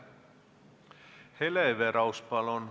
Hele Everaus, palun!